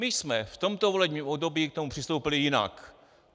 My jsme v tomto volebním období k tomu přistoupili jinak.